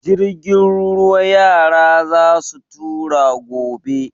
Jirgin ruwa yara za su tura gobe.